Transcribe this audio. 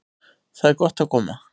Þar er gott að koma.